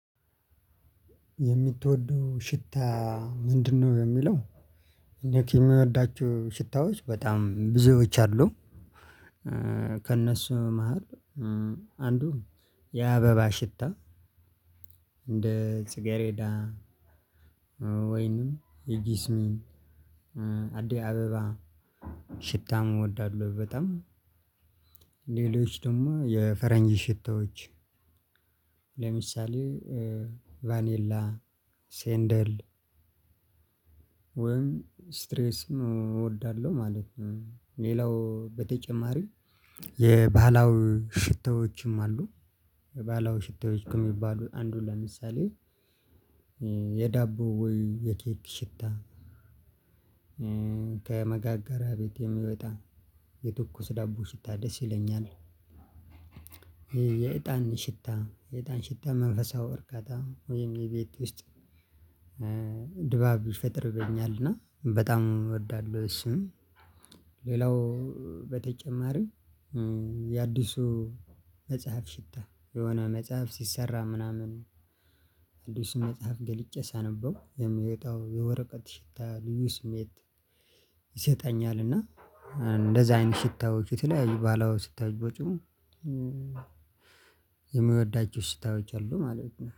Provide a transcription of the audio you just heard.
የምትወደው ሽታ ምንድነው? የሚለው እኔ ከሚወዳችሁ ሽታዎች በጣም ብዙዎች አሉ። ከእነሱ መሃል አንዱ የአበባ ሽታ እንደ ጽጌሬዴ ወይንም የጊስሚን አደይ አበባ ሽታም እወዳለሁ። በጣም ሌሎች ደግሞ የፈረንጅ ሽታዎች። ለምሳሌ ቫኔላ ሴንደል ወይም ስትሬስ እወዳለሁ ማለት ነው። ሌላው በተጨማሪ የባህላው ሽተዎችም አሉ። የባህላዊ ሽታዎች ከሚባሉት አንዱ ለምሳሌ የዳቦ ወይ የኬክ ሽታ። ከመጋገሪያ ቤት የሚወጣ የትኩስ ዳቦ ሽታ ደስ ይለኛል። የእጣን ሽታ የእጣን ሽታ መንፈሳዊ እርካታ ወይም የቤት ውስጥ ድባብ ይፈጥርልኛል እና በጣም እወዳለሁ። እሱም ሌላው በተጨማሪ የአዲሱ መጽሐፍ ሽታ የሆነ መጽሐፍ ሲሰራ ምናምን ነው አዲስ መጽሐፍ ገልጬ ሳነበው የምወጣው የወረቀት ሽታ ልዩ ስሜት ይሰጠኛል። እና እንደዛ አይነት ሽታዎች የተለያዩ ባህለዊ ስታይ ቦጭም። የሚወዳቸው ሽታዎች አሉ ማለት ነው